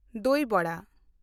ᱫᱚᱭ ᱣᱟᱲᱟ